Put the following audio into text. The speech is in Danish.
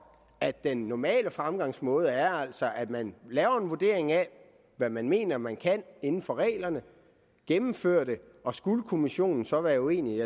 at den normale fremgangsmåde altså er at man laver en vurdering af hvad man mener man kan inden for reglerne gennemfører det og skulle kommissionen så være uenig